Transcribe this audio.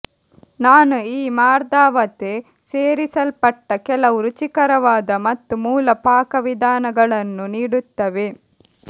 ನಾನು ಈ ಮಾರ್ದವತೆ ಸೇರಿಸಲ್ಪಟ್ಟ ಕೆಲವು ರುಚಿಕರವಾದ ಮತ್ತು ಮೂಲ ಪಾಕವಿಧಾನಗಳನ್ನು ನೀಡುತ್ತವೆ